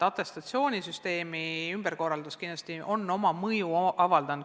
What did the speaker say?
Atestatsioonisüsteemi ümberkorraldus kindlasti on oma mõju avaldanud.